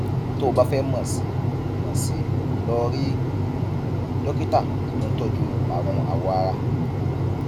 tó o bá fẹ mọ sí i mọ sí i lọ rí dókítà tó ń tọjú àrùn awọ ara